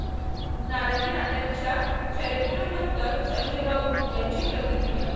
नाराजीनाट्याच्या चर्चेनंतर संजय राऊत यांची प्रतिक्रिया